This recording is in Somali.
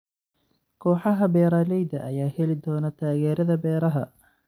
Kooxaha beeralayda ayaa heli doona taageerada beeraha.